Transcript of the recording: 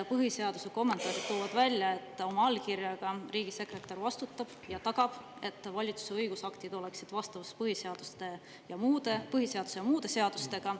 Põhiseaduse kommentaarid toovad välja, et riigisekretär oma allkirjaga ning vastutab ja tagab, et valitsuse õigusaktid oleksid vastavuses põhiseaduse ja muude seadustega.